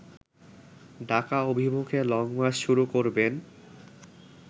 ডাকা অভিমুখে লংমার্চ শুরু করবেন